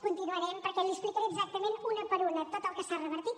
continuarem perquè l’hi explicaré exactament una per una tot el que s’hi ha revertit